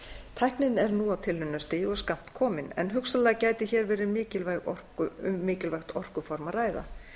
tæknin er nú á tilraunastigi og skammt komin en hugsanlega gæti hér verið um mikilvægt orkuform að ræða